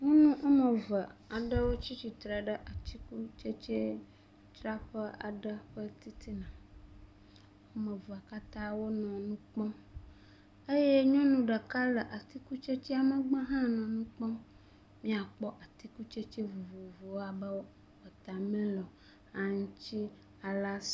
Nyɔnu woame eve aɖewo tsi atsitre ɖe atikutsetsedzraƒe aɖe ƒe titina. Woame evea katã wonɔ nu kpɔm eye nyɔnu ɖeka le atikutsetsea megbe hã nɔ nu kpɔm. Míakpɔ atikutsetse vovovowo abe watamilɔ, aŋuti, alas…